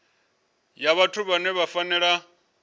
ya vhathu vhane vha fanela